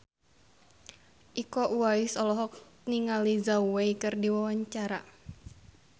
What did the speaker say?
Iko Uwais olohok ningali Zhao Wei keur diwawancara